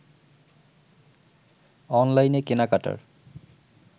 অনলাইনে কেনাকাটার